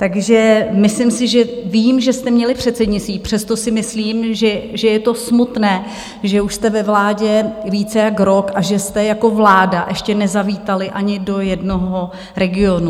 Takže myslím si, že vím, že jste měli předsednictví, přesto si myslím, že je to smutné, že už jste ve vládě více jak rok a že jste jako vláda ještě nezavítali ani do jednoho regionu.